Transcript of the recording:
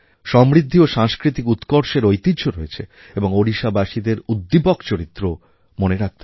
সমৃদ্ধি ও সাংস্কৃতিক উৎকর্ষের ঐতিহ্য রয়েছে এবং ওড়িশাবাসীদের উদ্দীপক চরিত্র ও মনে রাখতে হবে